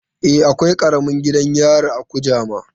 E, akwai karamin gidan yari a Kujama.